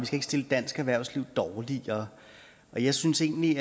skal stille dansk erhvervsliv dårligere og jeg synes egentlig